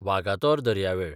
वागातोर दर्यावेळ